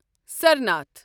Sarnath